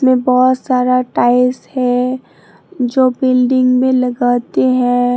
बहोत सारा टाइस हैं जो बिल्डिंग में लगाते हैं।